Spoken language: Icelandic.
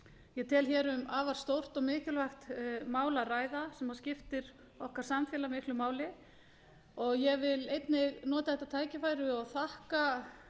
ég tel um afar stórt og mikilvægt mál að ræða sem skiptir okkar samfélag miklu máli og ég vil einnig nota þetta tækifæri og þakka